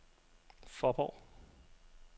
Fåborg